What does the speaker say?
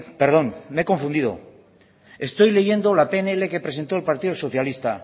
perdón me he confundido estoy leyendo la pnl que presentó el partido socialista